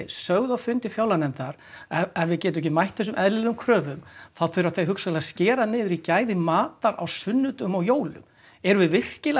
sögðu á fundi fjárlaganefndar að ef við getum ekki mætt þessum eðlilegu kröfum þá þurfa þau hugsanlega að skera niður í gæðum matar á sunnudögum og jólum erum við virkilega